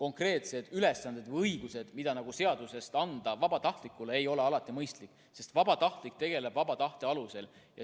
konkreetseid ülesandeid või õiguseid seadusega vabatahtlikele anda ei ole alati mõistlik, sest vabatahtlikud tegutsevad vaba tahte alusel.